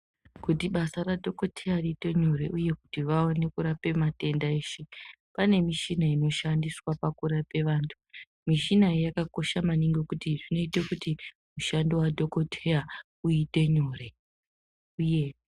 Kuti basa radhokodheya riite nyore uye kuti vaone kurape matenda eshe, pane mishina inoshandiswa pakurape vantu. Mishina iyi yakakosha maningi ngekuti zvinoite kuti, mushando wadhokodheya uite nyore uye...